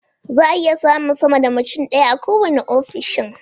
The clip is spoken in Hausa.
Zaa iya samun sama sa mutum ɗaya a kowanne ofishin